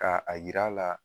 Ka a yira a la